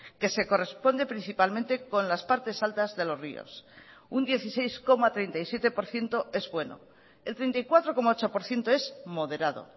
que se corresponde principalmente con las partes altas de los ríos un dieciséis coma treinta y siete por ciento es bueno el treinta y cuatro coma ocho por ciento es moderado